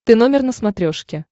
ты номер на смотрешке